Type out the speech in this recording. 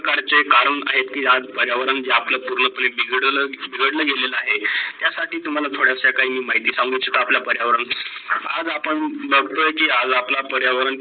प्रकारचे करण आहे की आज पर्यावरण जे आपल पूर्ण बिघडल बिघडलेला गेलेला आहे. त्या साठी तुम्हाला थोडासा काही माहिती सांगून आपल्या पर्यावरण. आज आपण बगतो की आज आपला पर्यावरण